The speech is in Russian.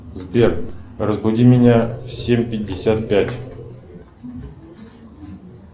сбер разбуди меня в семь пятьдесят пять